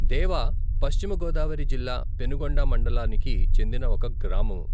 దేవ పశ్చిమ గోదావరి జిల్లా పెనుగొండ మండలానికి చెందిన ఒక గ్రామము.